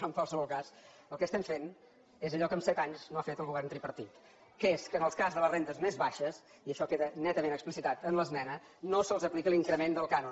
però en qualsevol cas el que estem fent és allò que en set anys no ha fet el govern tripartit que és que en el cas de les rendes més baixes i això queda netament explicitat en l’esmena no se’ls aplica l’increment del cànon